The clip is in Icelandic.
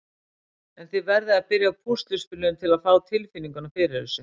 En þið verðið að byrja á púsluspilinu til að fá tilfinninguna fyrir þessu.